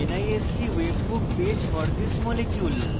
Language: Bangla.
nist webbook page for this molecule